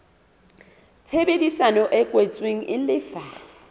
tshebedisano e kwetsweng e lefa